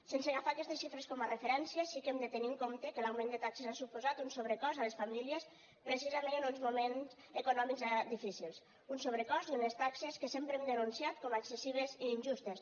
sense agafar aquestes xifres com a referència sí que hem de tenir en compte que l’augment de taxes ha suposat un sobrecost a les famílies precisament en uns moments econòmics difícils un sobrecost i unes taxes que sempre hem denunciat com a excessives i injustes